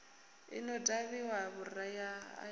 i no ṱavhiwa vhuriha i